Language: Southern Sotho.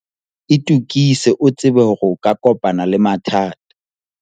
itokise o tsebe hore o ka kopana le mathata.